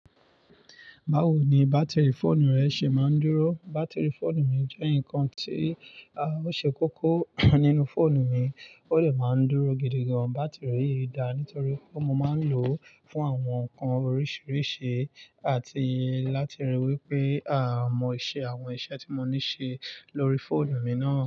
Báwo no bátìrì fóònù rẹ ṣe máa ń dúró. Bátìrì fóònù mi jẹ́ ǹkan tí ó ṣe kókó nínú fóònù mi. Ó dẹ̀ máa ń dúró gidi gan. Bátìrì yìí da nítorí pé mo máa ń lò fún àwọn ǹkan oríṣiríṣi àti láti ríi wípé mo ṣe àwọn iṣẹ́ tí mo ní ṣe lórí fóònù mi náà.